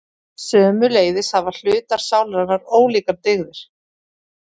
Sömuleiðis hafa hlutar sálarinnar ólíkar dygðir.